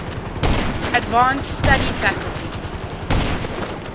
advanced study faculty